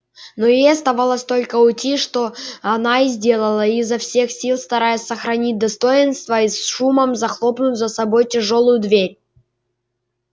но ей оставалось только уйти что она и сделала изо всех сил стараясь сохранить достоинство и с шумом захлопнув за собой тяжёлую дверь